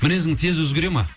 мінезіңіз тез өзгере ма